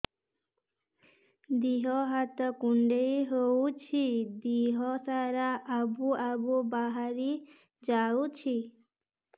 ଦିହ ହାତ କୁଣ୍ଡେଇ ହଉଛି ଦିହ ସାରା ଆବୁ ଆବୁ ବାହାରି ଯାଉଛି